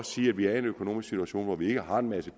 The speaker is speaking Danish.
sige at vi er en økonomisk situation hvor vi ikke har en masse